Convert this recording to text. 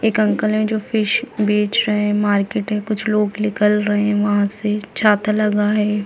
एक अंकल है जो फिश बेच रहै है मार्केट है कुछ लोग निकल रहै है वहाँ से छाता लगा है।